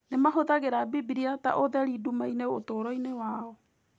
Nĩ mahũthagĩra Bibiriata ũtheri nduma-inĩ ũtũũro-inĩ wao.